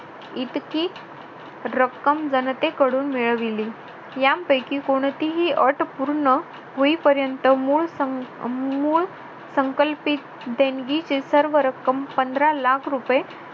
इतकी रक्कम जनतेकडून मिळवली यांपैकी कोणतीही अट पूर्ण होईपर्यंत मूळ मूळ संकल्पित देणगीची सर्व रक्कम पंधरा लाख रुपये